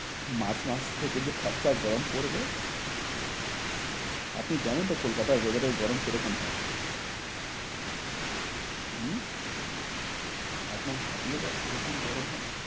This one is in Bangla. মার্চ মাস থেকে যে ভ্যাপসা গরম পরবে আপনি জানেন তো কলকাতার weather এর গরম কি রকম হয় হম একদম ফাটিয়ে দেয় যেরকম গরম হয়।